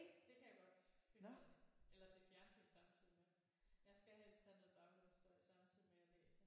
Det kan jeg godt finde ud af eller se fjernsyn samtidig med jeg skal helst have noget baggrundsstøj samtidig med jeg læser